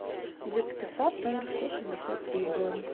детский сад номер сто шестьдесят три бронь